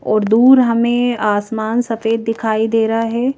और दूर हमें आसमान से सफेद दिखाई दे रहा हैं।